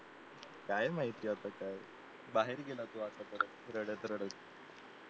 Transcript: काय माहिती आता काय बाहेर गेला तो रडत रडत